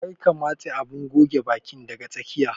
Kar ka matse abun goge bakin daga tsakiya.